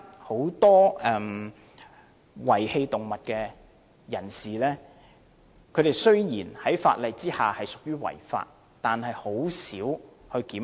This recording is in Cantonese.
此外，現時有很多遺棄動物的人士，雖然他們在法例之下屬於違法，但很少被檢控。